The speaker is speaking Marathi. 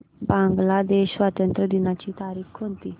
बांग्लादेश स्वातंत्र्य दिनाची तारीख कोणती